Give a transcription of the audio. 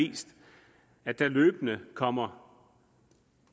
vist at der løbende kommer